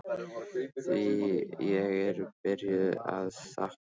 Því ég er byrjuð að sakna Helga.